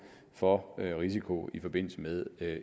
for risiko i forbindelse med